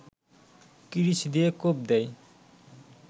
কিরিচ দিয়ে কোপ দেয়